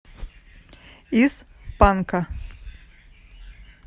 из панка